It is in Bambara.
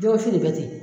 Jɛgɛ wusu de bɛ ten